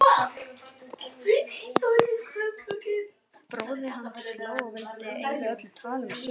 Bróðir hans hló og vildi eyða öllu tali um söng.